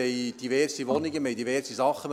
Wir haben diverse Wohnungen und diverse Sachen.